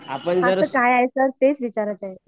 हो सर काय तेच विचारत आहे